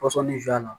Pɔsɔni